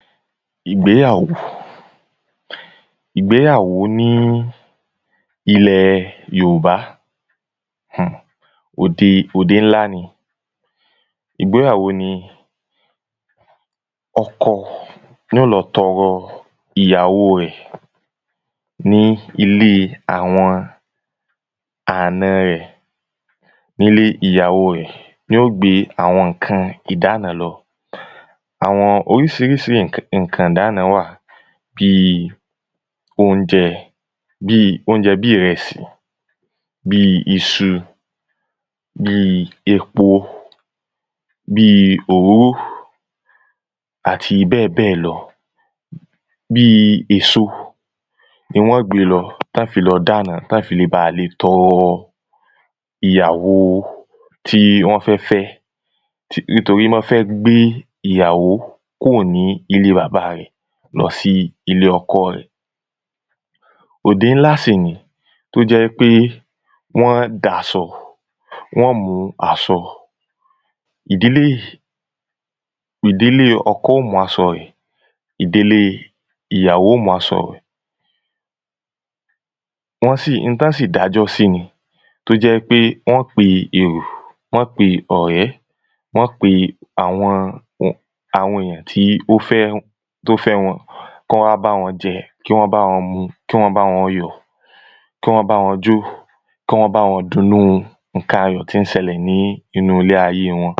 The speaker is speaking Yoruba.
Ìgbéyàwó. Ìgbéyàwó ní ilẹ Yòòbá. Òde òdé ńlá ni. Ìgbéyàwó ni ọkọ ní ó lọ tọrọ ìyàwo rẹ̀ ní ilé àwọn àna rẹ̀. Nílé ìyàwo rẹ̀ ní ó gbé àwọn ǹkan ìdána lọ. Àwọn oríṣiríṣi ǹkan ìdána wà. Bíi óúnjẹ bíi óújẹ bí ìrẹsì. Bíi iṣu Bíi epo Bíi òróró Àti bẹ́ẹ̀ bẹ́ẹ̀ lọ. Bíi èso ni wọ́n gbé lọ tán fi lọ dána tán fi le bà tọrọ ìyàwo tí wọ́n fẹ́ fẹ́. Nítorí mán fẹ́ gbé ìyàwó kúò ní ilé bàbá rẹ̀ lọ sí ilé ọkọ rẹ̀. Òdé ńlá sì ni tó jẹ́ wípé wọ́n dásọ wọ́n mú asọ. Ìdílé ìdílé ọkọ ó mú asọ rẹ̀, ìdílé ìyàwó ó mú asọ. Wọ́n sì, n tán sì dájọ́ sí ni. Tó jẹ́ pé wọ́n pe èrò, wọ́n pe ọ̀rẹ́. Wọ́n pe àwọn àwọn èyàn tí ó fẹ́ tó fẹ́ wọn kán wá bá wọn jẹ, kí wọ́n bá wọn mu, kí wọ́n bá wọn yọ̀. Kí wọ́n bá wọn jó, kí wọ́n bá wọn dunnú ǹkan ayọ̀ tí ń sẹlẹ̀ nínú ilé ayé wọn.